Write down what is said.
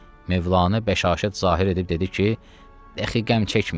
Mövlanə bəşaşət zahir edib dedi ki, hədə xəmcəkməyin.